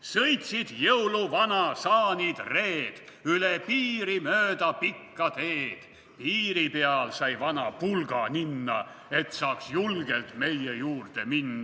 Sõitsid jõuluvana saanid-reed / üle piiri mööda pikka teed, / piiri peal sai vana pulga ninna, / et saaks julgelt meie juurde minna.